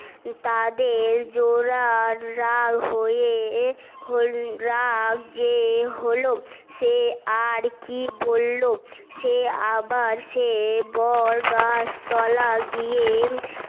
তাদের জোলা রাগ হয়ে হলো রাগ যে হলো সে আর কি বললো সে আবার সে বড গাছ তলা গিয়ে